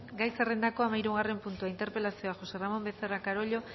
gai zerrendako hamahirugarren puntua interpelazioa josé ramón becerra carollo